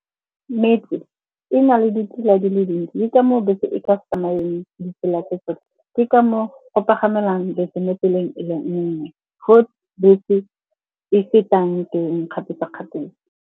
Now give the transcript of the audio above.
Metse e na le ditsela di le dintsi, ke ka moo bese e ka se tsamayeng ditsela tse tsotlhe. Ke ka moo go pagamelwang bese mo tseleng e le nngwe, foo bese e fetang teng kgapetsa-kgapetsa.